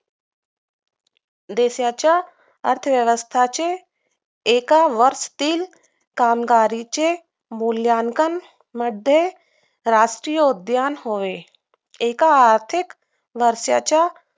देशाच्या अर्थव्यवस्थाचे एक वर्ष तीन कामगारांचे मूल्यांकन मध्ये राष्ट्रीय उद्यान होय एक आर्थिक वर्षाच्या